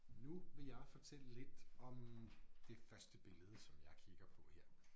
Nu vil jeg fortælle lidt om det første billede som jeg kigger på her